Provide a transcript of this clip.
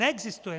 Neexistuje.